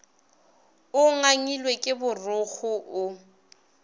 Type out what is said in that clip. o ngangilwe ke borokgo o